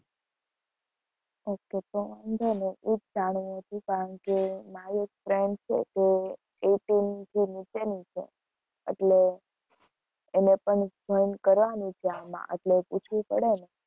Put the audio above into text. Okay તો વાંધો નહિ. એ જ જાણવું હતું કારણ કે મારી એક friend છે તે eighteen થી નીચેની છે એટલે એને પણ join કરાવાની છે આમાં એટલે પૂછવું પડે ને.